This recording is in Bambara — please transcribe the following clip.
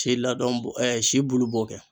Ti ladɔn bɔ ɛɛ si bulu b'o kɛ